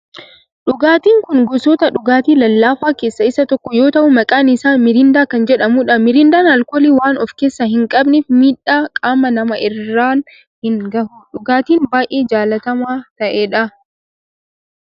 Dhugaatin kun gosoota dhugaatii lallaafaa keessaa isa tokko yoo ta'u maqaan isaa mirindaa kan jedhamudha. Mirindaan alkoolii waan of keessaa hin qabneef miidhaa qaama namaa irraan hin gahu. Dhugaatii baayyee jaalatamaa ta'edha.